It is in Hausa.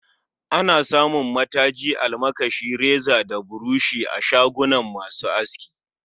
Ana samun mataji, almakashi, reza da burushi a shagon masu aski